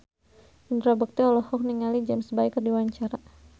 Indra Bekti olohok ningali James Bay keur diwawancara